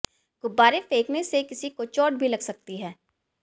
गुब्बारे फेंकने से किसी को चोट भी लग सकती है